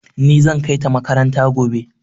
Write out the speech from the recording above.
Ni zan kai ta makaranta gobe.